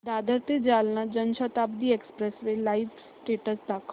दादर ते Jalna Janshatabdi express live status दाखव